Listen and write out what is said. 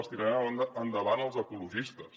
les tiraran endavant els ecologistes